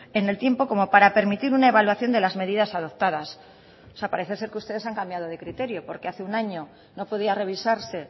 en el tiempo como para permitir una evaluación de las medidas adoptadas o sea parece ser que ustedes han cambiado de criterio porque hace un año no podía revisarse